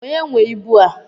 Onye nwee ịbụ a?